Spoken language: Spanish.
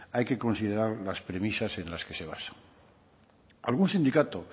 hay que considerar las premisas en las que se basa algún sindicato